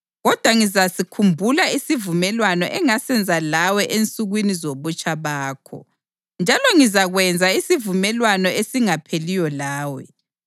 Kodwa ngizasikhumbula isivumelwano engasenza lawe ensukwini zobutsha bakho, njalo ngizakwenza isivumelwano esingapheliyo lawe.